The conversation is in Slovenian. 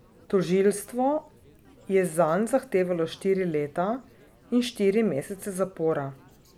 Tožilstvo je zanj zahtevalo štiri leta in štiri mesece zapora.